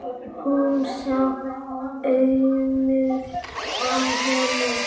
Hún sá aumur á honum.